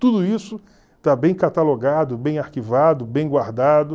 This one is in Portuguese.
Tudo isso está bem catalogado, bem arquivado, bem guardado.